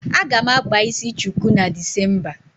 Aga m akpa isi chuku na Disemba.